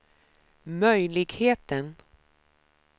möjligheten